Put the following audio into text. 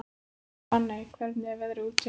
Benney, hvernig er veðrið úti?